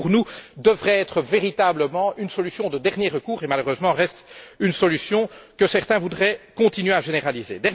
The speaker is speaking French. Ce qui, pour nous, devrait être véritablement une solution de dernier recours reste malheureusement une solution que certains voudraient continuer à généraliser.